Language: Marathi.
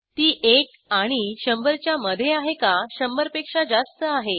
ती एक आणि शंभरच्या मधे आहे का शंभरपेक्षा जास्त आहे